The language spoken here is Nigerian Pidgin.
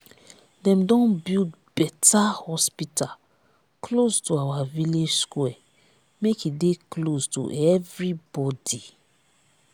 dem don build beta hospital close to our village square make e dey close to everybodi.